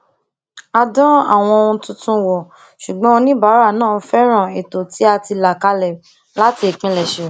a dán àwọn ohun tuntun wò ṣùgbọn oníbàárà náà fẹràn ètò tí a ti là kalẹ láti ìpilẹsẹ